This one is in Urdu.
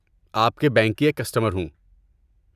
آپ کے بینک کی ایک کسٹمر ہوں۔